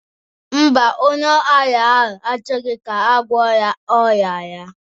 Mba, onye ara ahụ achọghọ ka agwọ ya ọrịa ya